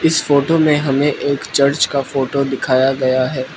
इस फोटो में हमें एक चर्च का फोटो दिखाया गया है।